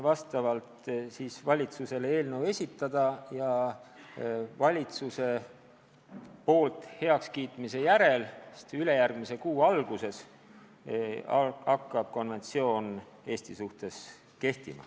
Seejärel saab valitsusele eelnõu esitada ja kui valitsus selle ülejärgmise kuu alguses heaks kiidab, siis hakkab konventsioon Eestis kehtima.